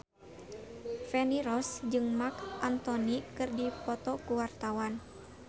Feni Rose jeung Marc Anthony keur dipoto ku wartawan